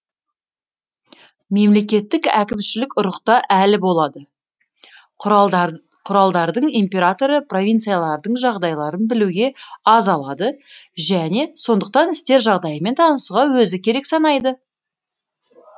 мемлекеттік әкімшілік ұрықта әлі болады құралдардың императоры провинциялардың жағдайы білуге аз алады және сондықтан істер жағдайымен танысуға өзі керек санайды